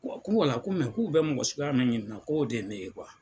Ko ko k'u bɛ mɔgɔ suguya min ɲini k'o de ye ne ye .